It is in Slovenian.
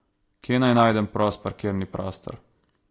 Kje naj najdem prost parkirni prostor?